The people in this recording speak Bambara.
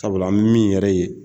Sabula an bɛ mini yɛrɛ ye